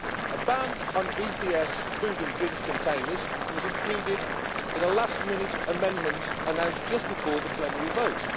A ban on EPS food and drinks containers was included in a last minute amendment announced just before the plenary vote.